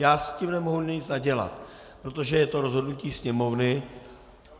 Já s tím nemohu nic nadělat, protože je to rozhodnutí Sněmovny.